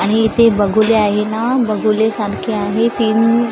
आणि इथे बगुले आहे ना बघुले सारखे आहे तीन--